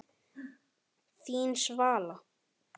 Þín Svala.